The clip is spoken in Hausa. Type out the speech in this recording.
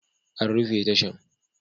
An rufe tashan